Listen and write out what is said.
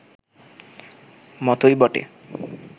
মতোই বটে